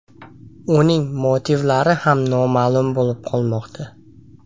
Uning motivlari ham noma’lum bo‘lib qolmoqda.